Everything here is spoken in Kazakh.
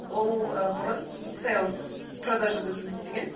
ол і бұрын сейлс продажада жұмыс істеген